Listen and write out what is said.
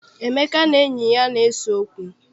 Emeka na enyi ya na-ese okwu.